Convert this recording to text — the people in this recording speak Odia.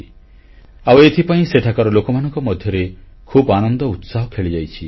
ଆଉ ଏଥିପାଇଁ ସେଠାକାର ଲୋକମାନଙ୍କ ମଧ୍ୟରେ ଖୁବ୍ ଆନନ୍ଦ ଉତ୍ସାହ ଖେଳିଯାଇଛି